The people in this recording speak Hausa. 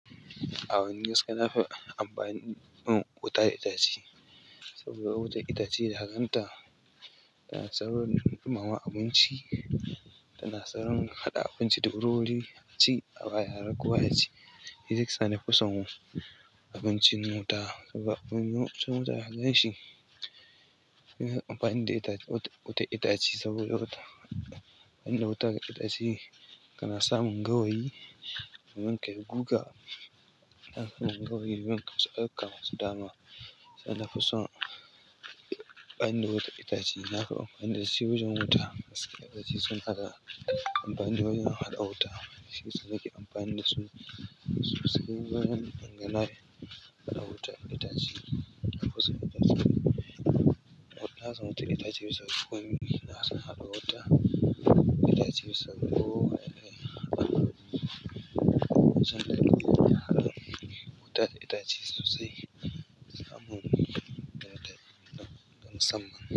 Amma ni gaskiya nafi amfani da wuta da itace saboda wuta itace da kaganta, tana saurin ɗumama abinci, tana saurin haɗa abinci da wuriwuri a ci aba yara kowa yaci. Shiyasa nafison abincin wuta saboda abincin wuta da hakan shi. Amfani da wuta itace saboda wuta inda wuta ga itace kana samun gawayi kaman kai guga gawayi sanan kasamu dama. Nafison amfani da wuta da itace. Nafi amfani dashi wajen wuta. Itace suna da amfani dawajen haɗa wuta. To shiyasa nake amfani dasu, susa amfani da na haɗa wuta da itace. Wuta da itace suna da ko ina suna haɗa wuta. Itace suna ko ina suna haɗa wuta. Itace sosai amfani da ita don musamman.